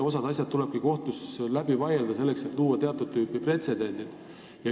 Osa asju tulebki kohtus läbi vaielda, selleks et tuua teatud tüüpi pretsedente.